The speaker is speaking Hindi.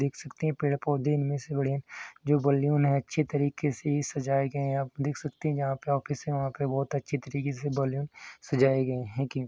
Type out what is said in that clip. देख सकते हैं। पेड़ पौधे है इनमे से बड़े यह जो बलून है बहुत अच्छे तरिके से सजाया गया हैं आप देख सकते हैं यहां पर ऑफिस है। यहाँ पर बहुत अच्छे तरिके से बलून सजाया गया है की।